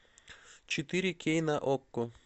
четыре кей на окко